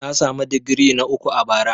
Na samu digiri na uku a bara.